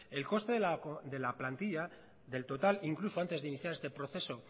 el coste de la plantilla del total incluso antes de iniciar este proceso